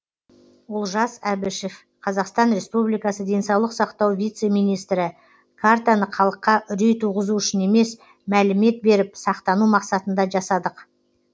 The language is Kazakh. олжас әбішев қазақстан республикасы денсаулық сақтау вице министрі картаны халыққа үрей туғызу үшін емес мәлімет беріп сақтану мақсатында жасадық